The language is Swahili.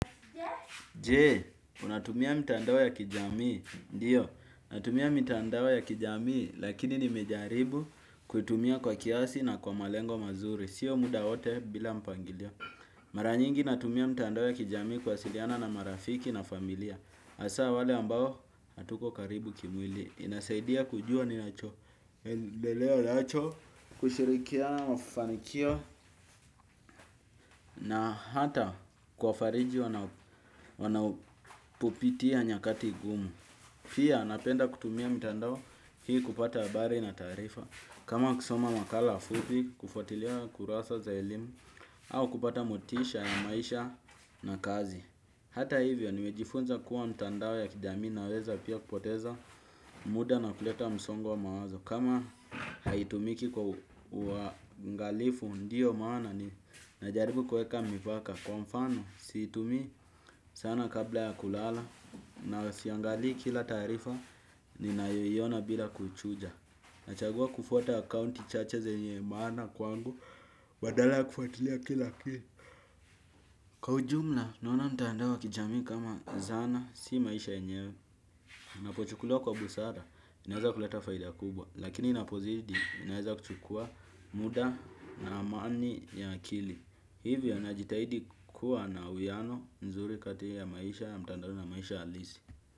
Je, unatumia mitandao ya kijamii, ndiyo, natumia mitandao ya kijamii, lakini nimejaribu kutumia kwa kiasi na kwa malengo mazuri, sio muda wote bila mpangilio. Mara nyingi, natumia mtandao ya kijamii kuwasiliana na marafiki na familia. Hasa wale ambao hatuko karibu kimwili. Inasaidia kujua ninachoendelea nacho, kushirikiana na mafanikio na hata kuwafariji wanapopitia nyakati gumu. Pia napenda kutumia mitandao hii kupata habari na taarifa. Kama kusoma makala fupi, kufuatilia kurasa za elimu, au kupata motisha ya maisha na kazi. Hata hivyo nimejifunza kuwa mtandao ya kijamii inaweza pia kupoteza muda na kuleta msongo wa mawazo. Kama haitumiki kwa uangalifu ndiyo maana ninajaribu kuweka mipaka. Kwa mfano siitumi sana kabla ya kulala na siangali kila taarifa ninayoiona bila kuichuja. Nachagua kufuata akaunti chache zenye maana kwangu badala ya kufatilia kila kitu. Kwa ujumla, naona mtandao wa kijamii kama zana, si maisha yenyewe. Napochukuliwa kwa busara, inaweza kuleta faida kubwa. Lakini inapozidi, inaweza kuchukua muda na amani ya akili. Hivyo najitahidi kuwa na uwiano nzuri kati ya maisha, ya mtandaoni na maisha halisi.